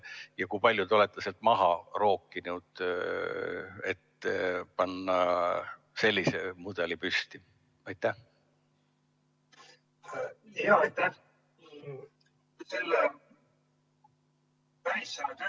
Ja kui palju te olete sealt maha rookinud, et panna selline mudel püsti?